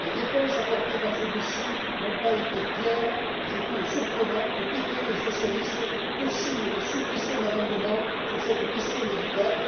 Les réponses apportées par celui ci n'ont pas été claires, et je trouve surprenant que PPE et Socialistes cosignent des suppressions d'amendements sur cette question délicate.